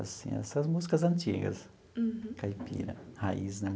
Assim essas músicas antigas, caipira, raiz, né?